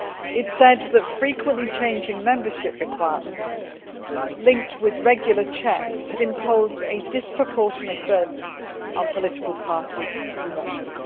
It said that frequently changing membership requirements, linked with regular checks, had imposed a disproportionate burden on political parties in Russia.